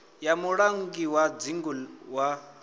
ya mulangi wa dzingu wa